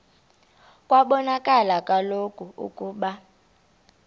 kwabonakala kaloku ukuba